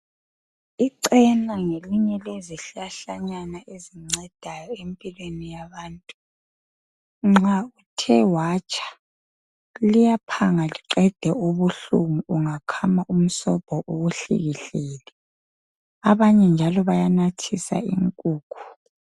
Ichena ngelinye lezihlahlanyana ezincedayo empilweni yabantu nxa uthe watsha liyaphanga liqede ubuhlungu ungakhama umsobho uwuhlikihlele, abanye njalo bayanathisa inkukhu.